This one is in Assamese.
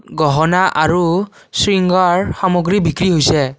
গহনা আৰু শৃংগাৰ সামগ্ৰী বিক্ৰী হৈছে।